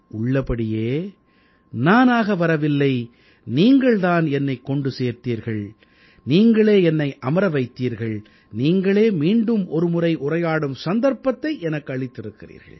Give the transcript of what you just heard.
உள்ளபடியே நானாக வரவில்லை நீங்கள் தான் என்னைக் கொண்டு வந்தீர்கள் நீங்களே என்னை அமர வைத்தீர்கள் நீங்களே மீண்டும் ஒருமுறை உரையாடும் சந்தர்ப்பத்தை எனக்கு அளித்திருக்கிறீர்கள்